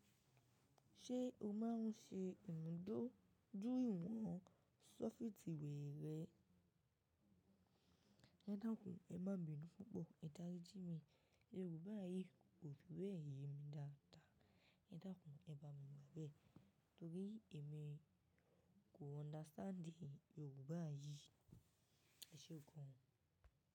Ṣé o máa ń ṣe ìmúdóju ìwọ̀n ṣọ́fìtìwẹ rẹ? Ẹ dakun, ẹ má binu pupọ, Ẹ darí jí mi, Yorùbá yìí kò fi bẹ́ẹ̀ ye mi dáadáa. Ẹ dakun, ẹ bá mi gba bẹ́ẹ̀ torí èmi kò understand Yorùbá yìí. Ẹ ṣé gan.